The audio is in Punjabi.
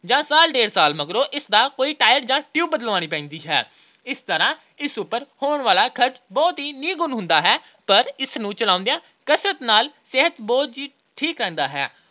ਜਾਂ ਸਾਲ – ਡੇਢ ਸਾਲ ਮਗਰੋਂ ਇਸ ਦਾ ਕੋਈ tire ਜਾਂ tube ਬਦਲਾਉਣੀ ਪੈਂਦੀ ਹੈ। ਇਸ ਤਰ੍ਹਾਂ ਇਸ ਉੱਪਰ ਹੋਣ ਵਾਲਾ ਖਰਚ ਬਹੁਤ ਹੀ ਨਿਗੁਣ ਹੁੰਦਾ ਹੈ ਪਰ ਇਸ ਨੂੰ ਚਲਾਉਂਦਿਆਂ ਕਸਰਤ ਨਾਲ ਸਿਹਤ ਬਹੁਤ ਹੀ ਠੀਕ ਰਹਿੰਦੀ ਹੈ।